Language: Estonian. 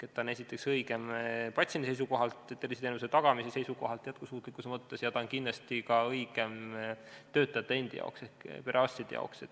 Esiteks ta on õigem patsiendi seisukohalt, terviseteenuse tagamise seisukohalt, jätkusuutlikkuse mõttes ja kindlasti on see õigem ka töötajate endi ehk perearstide seisukohalt.